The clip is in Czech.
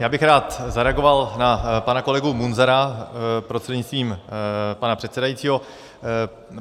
Já bych rád zareagoval na pana kolegu Munzara prostřednictvím pana předsedajícího.